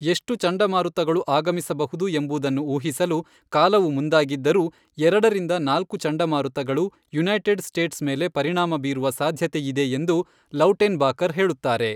ಎಷ್ಟು ಚಂಡಮಾರುತಗಳು ಆಗಮಿಸಬಹುದು ಎಂಬುದನ್ನು ಊಹಿಸಲು ಕಾಲವು ಮುಂದಾಗಿದ್ದರೂ, ಎರಡರಿಂದ ನಾಲ್ಕು ಚಂಡಮಾರುತಗಳು ಯುನೈಟೆಡ್ ಸ್ಟೇಟ್ಸ್ ಮೇಲೆ ಪರಿಣಾಮ ಬೀರುವ ಸಾಧ್ಯತೆಯಿದೆ ಎಂದು ಲೌಟೆನ್ಬಾಕರ್ ಹೇಳುತ್ತಾರೆ.